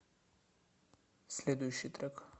следующий трек